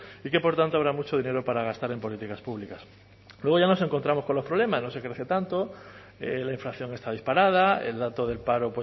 y que por tanto habrá mucho dinero para gastar en políticas públicas luego ya nos encontramos con los problemas no se crece tanto la inflación está disparada el dato del paro